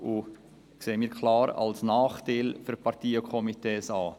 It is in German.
Wir sehen es klar als Nachteil für Parteien und Komitees.